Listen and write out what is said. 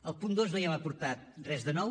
al punt dos no hi hem aportat res de nou